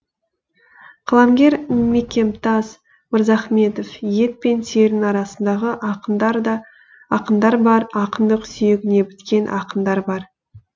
қаламгер мекемтас мырзахметов ет пен терінің арасындағы ақындар бар ақындық сүйегіне біткен ақындар бар